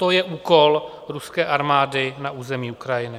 To je úkol ruské armády na území Ukrajiny.